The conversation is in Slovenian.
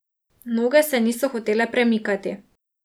Noge se niso hotele premikati.